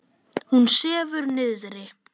Hún sefur niðri.